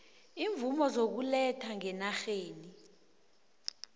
iimvumo zokuletha ngenarheni